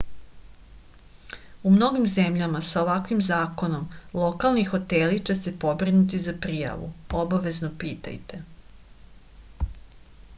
у многим земљама са оваквим законом локални хотели ће се побринути за пријаву обавезно питајте